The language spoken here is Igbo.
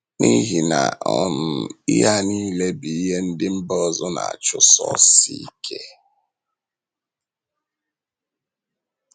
N’ihi na um ihe a nile bụ ihe ndị mba ọzọ na - achụsosi ike.